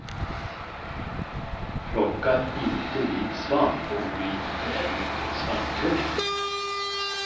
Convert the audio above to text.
Plocka inte vit svamp om du inte är mycket svampkunnig.